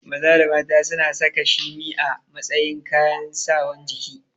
Maza da mata suna saka shimi a matsayin kayan Sawan ciki